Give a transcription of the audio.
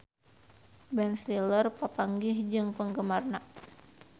Ben Stiller papanggih jeung penggemarna